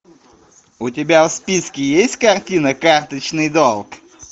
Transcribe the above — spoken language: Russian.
у тебя в списке есть картина карточный долг